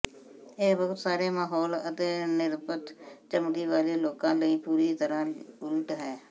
ਇਹ ਬਹੁਤ ਸਾਰੇ ਮਹੌਲ ਅਤੇ ਨਿਰਪੱਖ ਚਮੜੀ ਵਾਲੇ ਲੋਕਾਂ ਲਈ ਪੂਰੀ ਤਰ੍ਹਾਂ ਉਲਟ ਹੈ